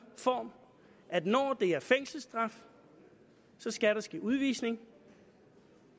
form at når det er fængselsstraf skal der ske udvisning